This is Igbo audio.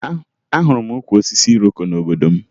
Ahụrụ m ukwu osisi iroko n'obodo m